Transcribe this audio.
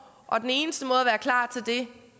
og den eneste måde at være klar til det